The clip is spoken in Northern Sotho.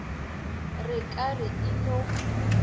re ka re e no